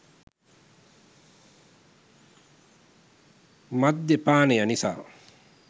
මධ්‍ය පානය නිසා